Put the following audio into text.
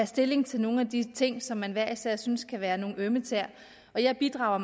stilling til nogle af de ting som man hver især synes kan være nogle ømme tæer jeg bidrager